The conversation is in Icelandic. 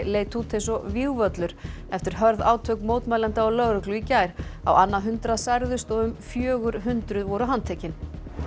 leit út eins og vígvöllur eftir hörð átök mótmælenda og lögreglu í gær á annað hundrað særðust og um fjögur hundruð voru handtekin